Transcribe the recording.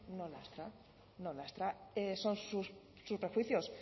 no lastra no lastra son sus prejuicios